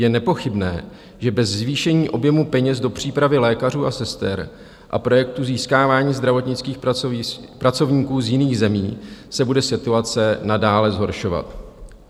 Je nepochybné, že bez zvýšení objemu peněz do přípravy lékařů a sester a projektů získávání zdravotnických pracovníků z jiných zemí se bude situace nadále zhoršovat.